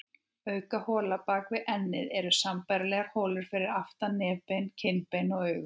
Auk hola bak við ennið eru sambærilegar holur fyrir aftan nefbein, kinnbein og augu.